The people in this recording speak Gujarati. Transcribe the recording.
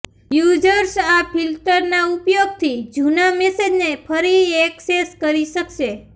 યૂઝર્સ આ ફિલ્ટરના ઉપયોગથી જૂના મેસેજને ફરી એક્સેસ કરી શકશે